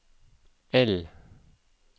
L